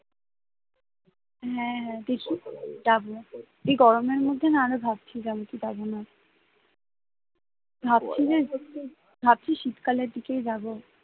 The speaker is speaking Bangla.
হ্যাঁ হ্যাঁ দেখি যাব, এই গরমের মধ্যে না আরো ভাবছিলাম কি যাবো না ভাবছি যে ভাবছি শীতকালের দিকেই যাবো